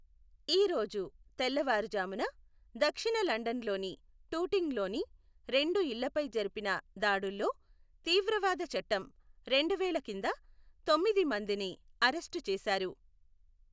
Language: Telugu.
ఈ రోజు తెల్లవారుజామున, దక్షిణ లండన్లోని టూటింగ్లోని రెండు ఇళ్లపై జరిపిన దాడుల్లో తీవ్రవాద చట్టం రెండు వేల కింద తొమ్మిది మందిని అరెస్టు చేశారు.